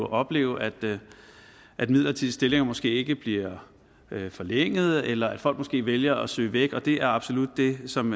opleve at at midler til de stillinger måske ikke bliver forlænget eller at folk måske vælger at søge væk og det er absolut det som